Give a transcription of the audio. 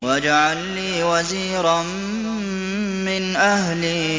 وَاجْعَل لِّي وَزِيرًا مِّنْ أَهْلِي